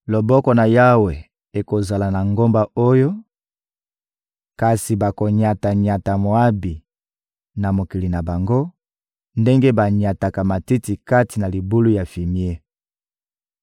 Loboko na Yawe ekozala na ngomba oyo, kasi bakonyata-nyata Moabi na mokili na bango ndenge banyataka matiti kati na libulu ya fimie.